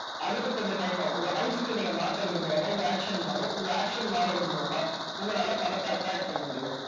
அதுக்கு கொஞ்சம் time ஆகும் உங்க mindset அ நீங்க மாத்துறது மூலமா உங்க action மாறும் உங்க action மாறுறது மூலமா உங்களால பணத்தை attract பண்ண முடியும்.